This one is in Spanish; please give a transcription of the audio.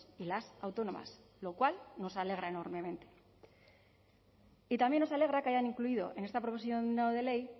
y las autónomas lo cual nos alegra enormemente y también nos alegra que hayan incluido en esta proposición no de ley